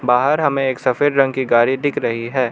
बाहर हमें एक सफेद रंग की गाड़ी दिख रही है।